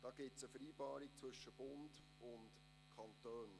Dazu gibt es eine Vereinbarung zwischen Bund und Kantonen.